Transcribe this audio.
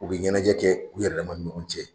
U bɛ ɲɛnajɛ kɛ u yƐrƐ dama ni ɲɔgɔn cɛ.